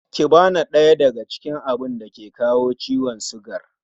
Kiba na ɗaya daga cikin abun dake kawo ciwon sugar